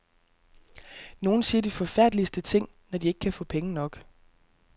Nogle siger de forfærdeligste ting, når de ikke kan få penge nok.